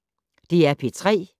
DR P3